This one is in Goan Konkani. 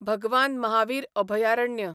भगवान महावीर अभयारण्य